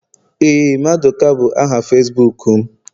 Éè maduka bu aha Facibuku m